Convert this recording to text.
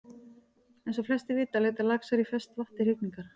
Eins og flestir vita leita laxar í ferskt vatn til hrygningar.